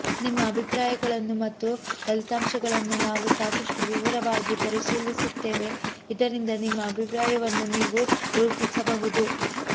ನಿಮ್ಮ ಅಭಿಪ್ರಾಯಗಳನ್ನು ಮತ್ತು ಫಲಿತಾಂಶಗಳನ್ನು ನಾವು ಸಾಕಷ್ಟು ವಿವರವಾಗಿ ಪರಿಶೀಲಿಸುತ್ತೇವೆ ಇದರಿಂದ ನಿಮ್ಮ ಅಭಿಪ್ರಾಯವನ್ನು ನೀವು ರೂಪಿಸಬಹುದು